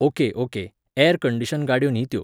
okay okay, air condition गाडयो न्ही त्यो